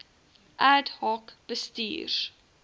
ad hoc bestuurs